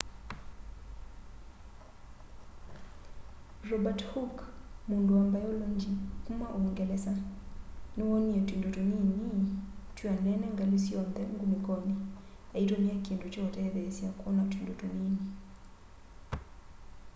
robert hooke mundu wa mbailongyi kuma uungelesa niwoonie tuindo tunini twianene ngali syonthe ngunikoni aitumia kindu kya utethesya kwona tuindo tunini